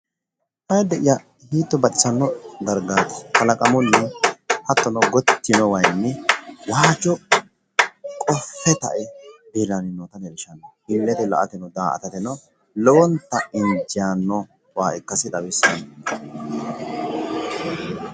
Ayiidde'ya hiitto baxisanno dargaati kalaqamunni hattono gotti yiino wayiinni waajjo qoffe ta"e leellanno illete la"ateno daa"atateno lowonta injaanno waa ikkasi xawissanno